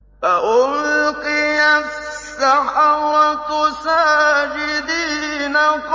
فَأُلْقِيَ السَّحَرَةُ سَاجِدِينَ